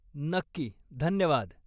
नक्की, धन्यवाद!